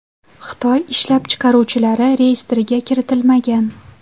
Xitoy ishlab chiqaruvchilari reyestrga kiritilmagan.